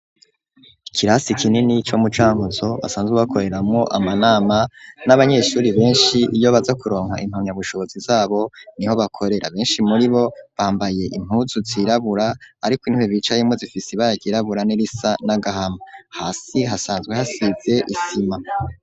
Ikirasi kinini co mu Cankuzo basanzwe bakoreramwo amanama n'abanyeshuri benshi iyo baza kuronka impamyabushobozi zabo niho bakorera, benshi muri bo bambaye impuzu zirabura ariko intebe bicayemwo zifise ibara ryirabura n'irisa n'agahama, hasi hasanzwe hasize isima.